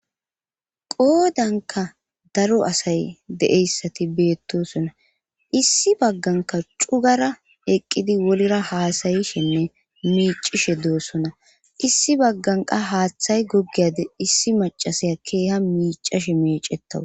Qoodanka daro asay deeyssati beettosona issi bagganka cugara eqqidi wolira haasayishenne miicishe doossona issi bagganqa haaththay goggiyade issi macasaya keeha miicashe meicettawu